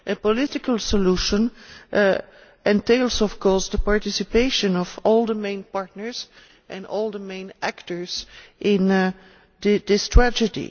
A political solution entails, of course, the participation of all the main partners and all the main actors in this tragedy.